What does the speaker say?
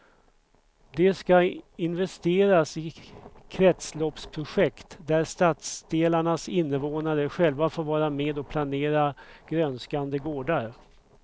Det ska investeras i kretsloppsprojekt där stadsdelarnas invånare själva får vara med och planera grönskande gårdar.